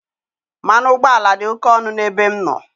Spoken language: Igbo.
Mmanụ ụgbọala dị oke ọnụ n'ebe m nọ.